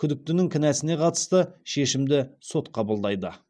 күдіктінің кінәсіне қатысты шешімді сот қабылдайды